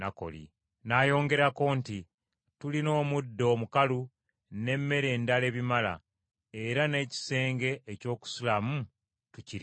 N’ayongerako nti, “Tulina omuddo omukalu n’emmere endala ebimala, era n’ekisenge eky’okusulamu tukirina.”